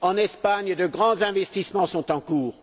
En Espagne, de grands investissements sont en cours.